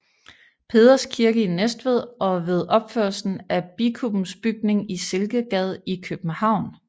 Peders Kirke i Næstved og ved opførelsen af Bikubens bygning i Silkegade i København